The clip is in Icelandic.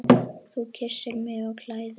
Þú kyssir mig og klæðir.